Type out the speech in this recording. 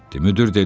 Müdür dedi: